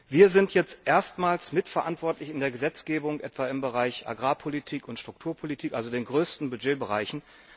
Wir sind jetzt erstmals mitverantwortlich in der Gesetzgebung, etwa im Bereich Agrarpolitik und Strukturpolitik also den größten Budgetbereichen.